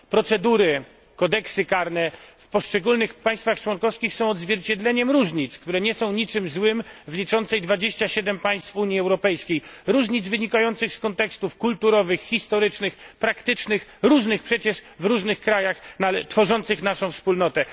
Procedury, kodeksy karne w poszczególnych państwach członkowskich są odzwierciedleniem różnic, które nie są niczym złym w liczącej 27 państw Unii Europejskiej różnic wynikających z kontekstów kulturowych, historycznych, praktycznych, różnych przecież w różnych krajach tworzących naszą wspólnotę.